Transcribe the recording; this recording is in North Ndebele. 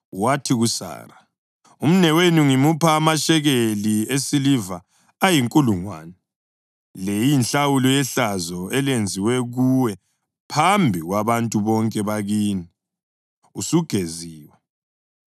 Wathi kuSara, “Umnewenu ngimupha amashekeli esiliva ayinkulungwane. Le iyinhlawulo yehlazo elenziwe kuwe phambi kwabantu bonke bakini; usugeziwe.”